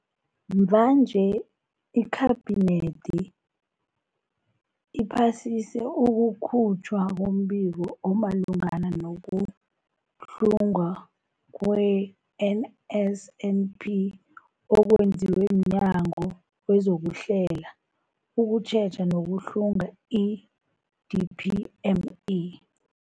Mvanje, iKhabinethi iphasise ukukhutjhwa kombiko omalungana nokuhlungwa kwe-NSNP okwenziwe mNyango wezokuHlela, ukuTjheja nokuHlunga, i-DPME.